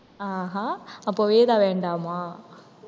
ஆஹா அப்ப வேதா வேண்டாமா?